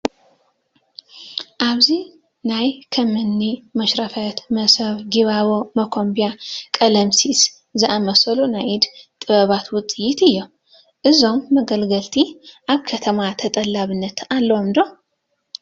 ኣብዚ ናይ ከም እኒ መሽረፈት፣ መሶብ፣ ጊባቦ፣ መኾምቢያ፣ ቀለምሲስ ዝኣምሰሉ ናይ ኢደ ጥበባትውፅኢት እኔዉ፡፡ እዞም መገልገሊታት ኣብ ከተማ ተጠላብነት ኣለዎም ዶ?